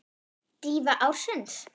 Dýfa ársins?